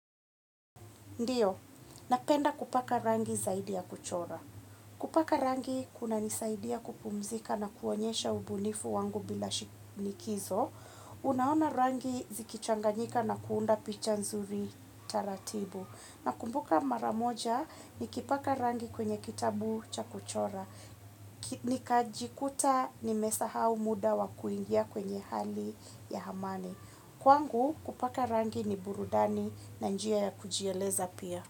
Ndio napenda kupaka rangi zaidi ya kuchora. Kupaka rangi kunanisaidia kupumzika na kuonyesha ubunifu wangu bila likizo. Unaona rangi zikichanganyika na kuunda picha nzuri taratibu. Nakumbuka mara moja nikipaka rangi kwenye kitabu cha kuchora nikajikuta nimesahau muda wa kuingia kwenye hali ya amani kwangu kupaka rangi ni burudani na njia ya kujieleza pia.